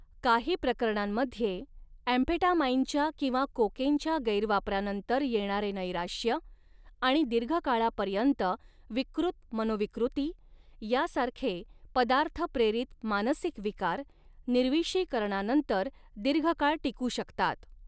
काही प्रकरणांमध्ये, ॲम्फेटामाइनच्या किंवा कोकेनच्या गैरवापरानंतर येणारे नैराश्य आणि दीर्घकाळापर्यंत विकृत मनोविकृती, यासारखे पदार्थ प्रेरित मानसिक विकार, निर्विषीकरणानंतर दीर्घकाळ टिकू शकतात.